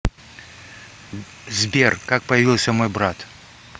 сбер как появился мой брат